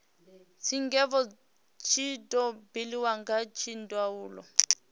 tshigwevho tshi do buliwa kha dzindaulo